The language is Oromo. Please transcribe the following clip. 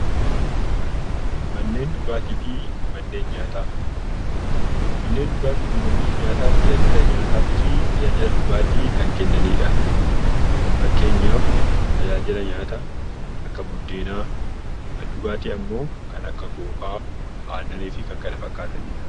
Manneen dhugaatii fi manneen nyaataa manneen tajaajila nyaataa fi dhugaatii kan kennanidha. Fakkeenyaaf tajaajila nyaataa Akka buddeenaa kan dhugaatii immoo kan akka kookaa fi kan kana fakkaatanidha.